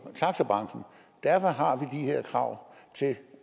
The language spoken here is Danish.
taxabranchen derfor har vi de her krav til